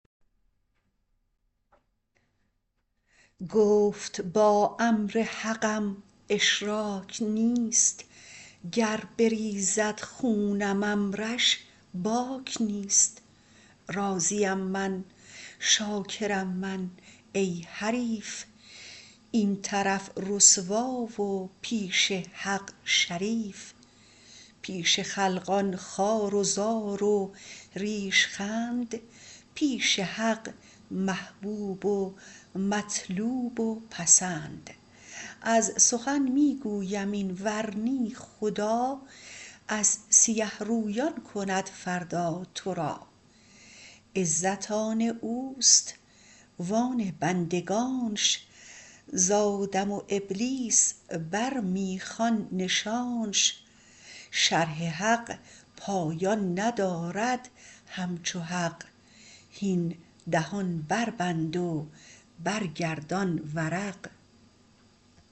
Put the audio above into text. گفت با امر حقم اشراک نیست گر بریزد خونم امرش باک نیست راضیم من شاکرم من ای حریف این طرف رسوا و پیش حق شریف پیش خلقان خوار و زار و ریش خند پیش حق محبوب و مطلوب و پسند از سخن می گویم این ورنه خدا از سیه رویان کند فردا تو را عزت آن اوست و آن بندگانش ز آدم و ابلیس بر می خوان نشانش شرح حق پایان ندارد همچو حق هین دهان بربند و برگردان ورق